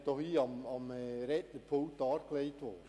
Vorhin wurde hier am Rednerpult ein gutes Beispiel dargelegt: